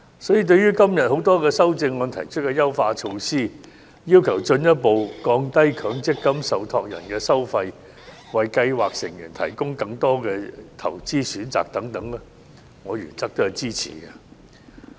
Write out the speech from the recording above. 因此，對於今天多項修正案提出的優化措施，要求進一步降低強積金受託人收費、為計劃成員提供更多投資選擇等，我原則上予以支持。